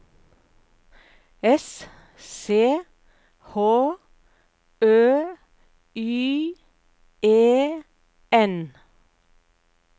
S C H Ø Y E N